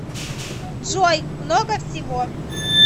джой много всего